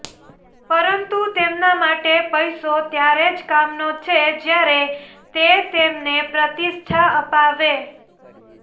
પરંતુ તેમના માટે પૈસો ત્યારે જ કામનો છે જ્યારે તે તેમને પ્રતિષ્ઠા અપાવે